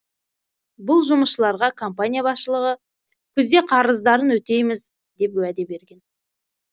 бұл жұмысшыларға компания басшылығы күзде қарыздарын өтейміз деп уәде берген